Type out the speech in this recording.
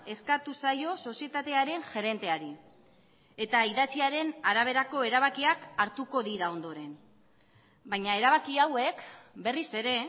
eskatu zaio sozietatearen gerenteari eta idatziaren araberako erabakiak hartuko dira ondoren baina erabaki hauek berriz ere